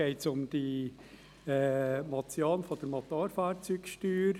Es geht um die Motion betreffend Motorfahrzeugsteuer.